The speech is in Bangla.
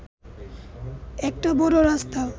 একটা বড় রাস্তা